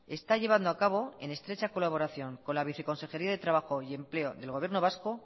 está llevando a cabo en estrecha colaboración con la viceconsejería de trabajo y empleo del gobierno vasco